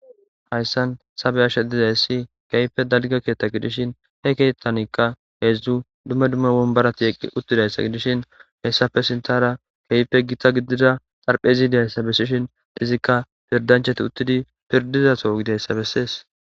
Hayssan tha be7ashe dizayssi keehippe dalgga keeththa gidishin he keeththanikka heezzu dumma dumma wombbarathi eqqi7uththizayssa gidishin heyssappe sinththaara keehippe githa gidida xarpheezi dizayssa bessishin izikka pirddanchchathi uththidi pirddida soho gideysa bessees.